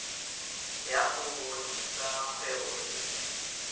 ya go rudisa kgwebo e